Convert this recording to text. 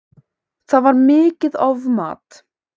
Það var mikið ofmat